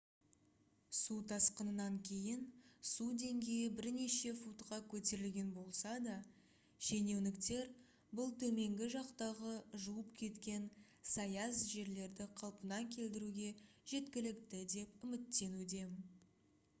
су тасқынынан кейін су деңгейі бірнеше футқа көтерілген болса да шенеуніктер бұл төменгі жақтағы жуып кеткен саяз жерлерді қалпына келтіруге жеткілікті деп үміттенуде